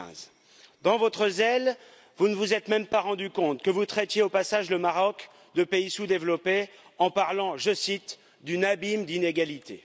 2015. Dans votre zèle, vous ne vous êtes même pas rendu compte que vous traitiez au passage le Maroc de pays sous développé en parlant, je cite, d'un abîme d'inégalités.